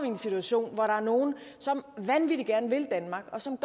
i en situation hvor der er nogle som vanvittig gerne vil danmark og som